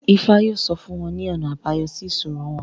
Ifá yóò sọ fún wọn ní ọ̀nà àbáyọ sí ìṣòro wọn